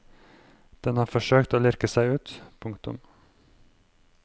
Den har forsøkt å lirke seg ut. punktum